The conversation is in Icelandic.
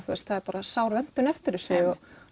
það er sár vöntun eftir þessu